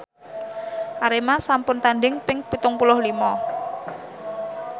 Arema sampun tandhing ping pitung puluh lima